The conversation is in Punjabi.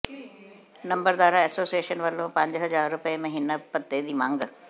ਨੰਬਰਦਾਰਾ ਐਸੋਸੀਏਸ਼ਨ ਵੱਲੋਂ ਪੰਜ ਹਜ਼ਾਰ ਰੁਪਏ ਮਹੀਨਾ ਭੱਤੇ ਦੀ ਮੰਗ